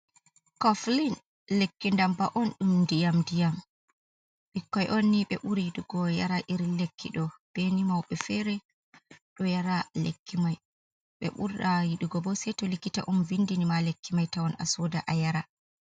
Coflin lekki ndamba’on dum ɗiyam ɗiyam. ɓikkoi onni be ɓuri yiɗigo yara iri lekkido. beni mauɓe fere do yara lekki mai. Be ɓura yidlɗugo bo sei to likkita on vindini ma lekki mai tawon a sooda a yara.